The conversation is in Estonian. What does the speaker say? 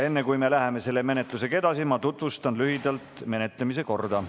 Enne kui me läheme sellega edasi, tutvustan lühidalt menetlemise korda.